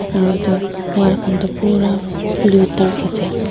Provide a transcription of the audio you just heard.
aru etu wall khan toh pura blue dark ase.